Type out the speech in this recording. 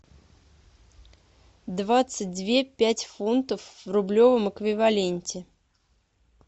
двадцать две пять фунтов в рублевом эквиваленте